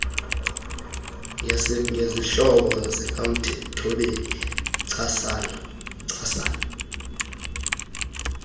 ngesihlobo sikamthobeli ncakasana